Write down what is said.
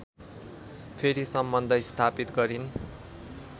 फेरि सम्बन्ध स्थापित गरिन्